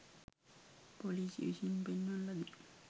පොලිසිය විසින් පෙන්වන ලදී